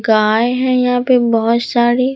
गाय हैं यहां पे बहुत सारी।